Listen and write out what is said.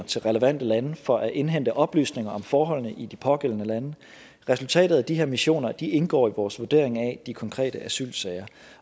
til relevante lande for at indhente oplysninger om forholdene i de pågældende lande resultat af de her missioner indgår i vores vurdering af de konkrete asylsager